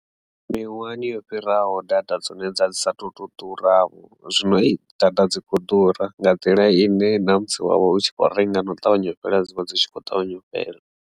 Miṅwahani yo fhiraho data dzone dza dzi sa tu to ḓura vho zwino hei data dzi kho ḓura nga nḓila ine na musi wavha u tshi kho renga na u ṱavhanya u fhela dzi vha dzi tshi kho ṱavhanya u fhela.